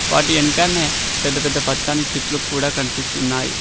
వాటి వెంకాన్నే పెద్ద పెద్ద పచ్చని చెట్లు కూడా కనిపిస్తున్నాయి.